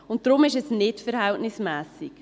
Deshalb ist es nicht verhältnismässig.